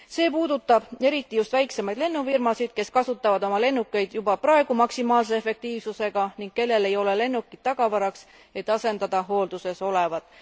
See puudutab eriti just väiksemaid lennufirmasid, kes kasutavad oma lennukeid juba praegu maksimaalse efektiivsusega ning kellel ei ole lennukeid tagavaraks, et asendada hoolduses olevat.